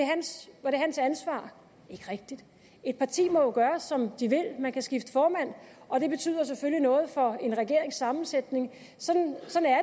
hans ansvar ikke rigtig et parti må jo gøre som de vil man kan skifte formand og det betyder selvfølgelig noget for en regerings sammensætning sådan